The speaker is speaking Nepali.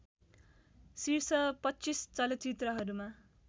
शीर्ष २५ चलचित्रहरूमा